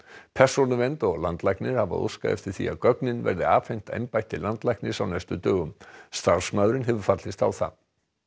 persónuvernd og landlæknir hafa óskað eftir því að gögnin verði afhent embætti landlæknis á næstu dögum starfsmaðurinn hefur fallist á það